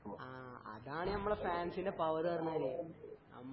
ആ അതാണ് ഞമ്മളെ ഫാൻസിന്റെ പവറു പറഞ്ഞാല്